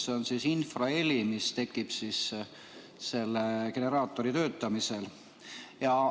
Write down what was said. See on infraheli, mis tekib selle generaatori töötamisel.